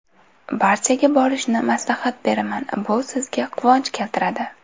Barchaga borishni maslahat beraman, bu sizga quvonch keltiradi.